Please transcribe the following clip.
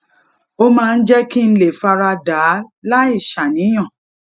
ó máa ń jé kí n lè fara dà á láì ṣàníyàn